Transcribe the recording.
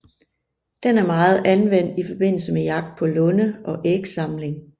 Den er meget anvendt i forbindelse med jagt på lunde og ægsamling